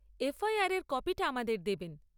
FIR এর কপিটা আমাদের দেবেন।